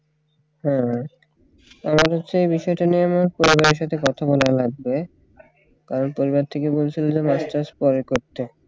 হ্যাঁ আমার হচ্ছে এই বিষয়টা নিয়ে আমার পরিবারের সাথে কথা বলা লাগবে কারণ পরিবার থেকে বলছিল যে masters পরে করতে